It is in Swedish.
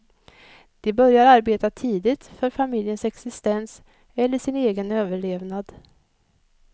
De börjar arbeta tidigt för familjens existens eller sin egen överlevnad.